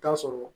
Taa sɔrɔ